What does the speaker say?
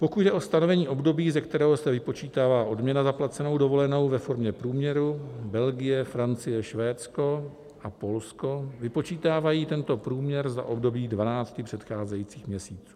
Pokud jde o stanovení období, ze kterého se vypočítává odměna za placenou dovolenou ve formě průměru, Belgie, Francie, Švédsko a Polsko vypočítávají tento průměr za období 12 předcházejících měsíců.